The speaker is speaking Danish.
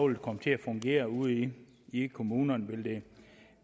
vil komme til at fungere ude i i kommunerne vil det